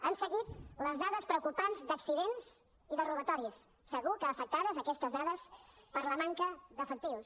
han seguit les dades preocupants d’accidents i de robatoris segur que afectades aquestes dades per la manca d’efectius